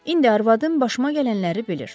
İndi arvadım başıma gələnləri bilir.